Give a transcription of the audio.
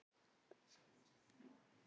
Sigurður var mjög ósáttur með dómgæsluna.